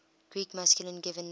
greek masculine given names